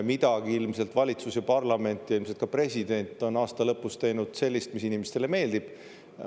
Midagi ilmselt valitsus ja parlament ja ilmselt ka president on aasta lõpus teinud sellist, mis inimestele meeldib.